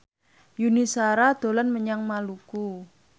Yuni Shara dolan menyang Maluku